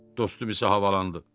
Dostum isə havalandı.